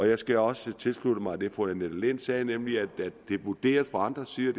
jeg skal også tilslutte mig det fru annette lind sagde nemlig at det er vurderet fra andre sider